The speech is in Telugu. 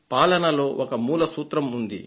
పాలనలో ఒక మూల సూత్రం ఉంది